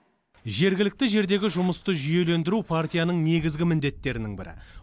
жергілікті жердегі жұмысты жүйелендіру партияның негізгі міндеттерінің бірі